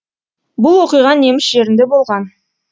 бұл оқиға неміс жерінде болған